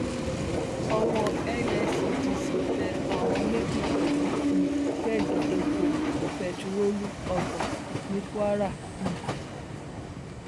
owó nscdc tẹ àwọn méjì pẹlú um kẹẹgì epo bẹtiróòlù ọgbọn ní kwara um